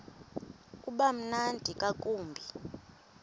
uba mnandi ngakumbi